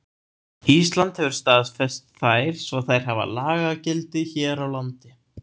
Ísland hefur staðfest þær svo þær hafa lagagildi hér á landi.